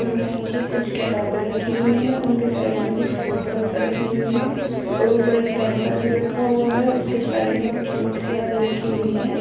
और नीचे कुछ किताबें रखी हुई है। उनके साइड में कुछ बोटल्स रखी हुई है और ऊपर एक कैंपर भी रखा हुआ है उसके साइड में कुछ मिक्सिया भी रखी हुई है।